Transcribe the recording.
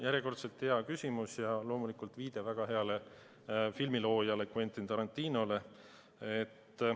Järjekordselt hea küsimus ja viide väga heale filmiloojale Quentin Tarantinole.